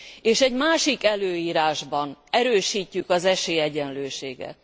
és egy másik előírásban erősítjük az esélyegyenlőséget.